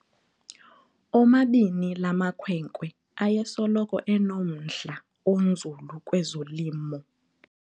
Omabini la makhwenkwe ayesoloko enomdla onzulu kwezolimo.